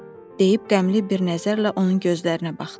deyib qəmli bir nəzərlə onun gözlərinə baxdı.